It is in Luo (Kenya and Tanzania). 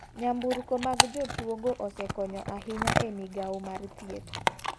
Nyamburko mag jotuo go osekonyo ahinya e migao mar thieth.